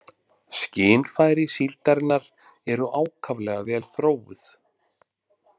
Skynfæri síldarinnar eru ákaflega vel þróuð.